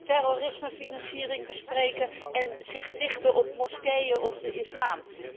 Terrorismefinanciering bespreken en zich richten op moskeeën of de islam.